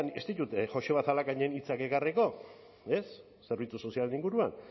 ez ditut joseba zalakainen hitzak ekarriko ez zerbitzu sozialen inguruan